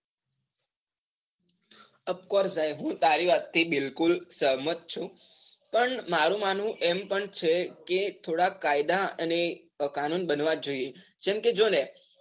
offcourse હું તારી વાત થી બિલકુલ સહમત છું, પણ મારુ માનવું એમ પણ છેકે થોડા કાયદા અને કાનૂન બનવા જ જોઈએ. જેમકે જોને